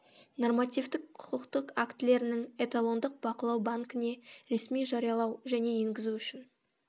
нормативтік құқықтық актілерінің эталондық бақылау банкіне ресми жариялау және енгізу үшін